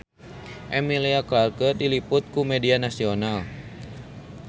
Emilia Clarke diliput ku media nasional